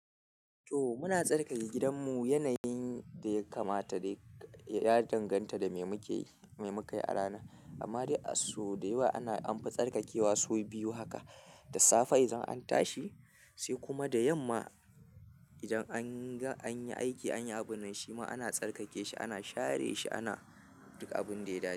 To muna tsarkake gidanmu yanayin da ya kamata dai, ya danganta da me muke yi me mukayi a ranan. Amma dai a sau dayawa ana an fi tsarkakewa sau biyu haka da safe idan an tashi, sai kuma da yamma idan an yi aiki, an yi abun nan shima ana tsarkake shi, ana share shi, ana duk abin da ya dace.